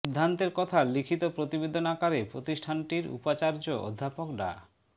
সিদ্ধান্তের কথা লিখিত প্রতিবেদন আকারে প্রতিষ্ঠানটির উপাচার্য অধ্যাপক ডা